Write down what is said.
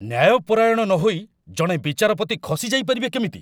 ନ୍ୟାୟପରାୟଣ ନହୋଇ ଜଣେ ବିଚାରପତି ଖସି ଯାଇପାରିବେ କେମିତି?